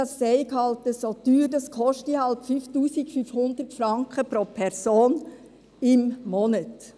Das sei nun eben so teuer, es koste nun mal 5500 Franken pro Person und Monat.